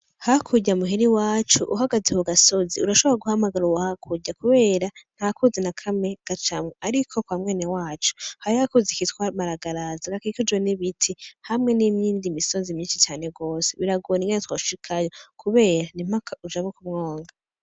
Hakurya muhira iwacu uhagaze ku gasozi urashobora guhamagara uwo hakurya, kubera nta kuzi na kamwe gacamwo, ariko kwa mwenewacu hariho akuzi kitwa maragarazi gakikujwe n'ibiti hamwe n'iyindi misozi mwinshi cane gose, biragora ingene twoshikayo kubera ni mpaka ujabuke umwonga.